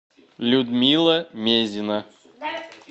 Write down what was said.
людмила мезина